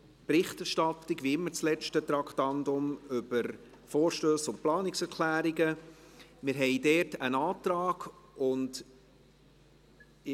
Die Berichterstattung über Vorstösse und Planungserklärungen, wie immer als letztes Traktandum.